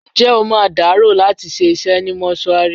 Ǹjẹ́ o máa dàárò láti ṣe isẹ́ ni mọ́ṣúárì?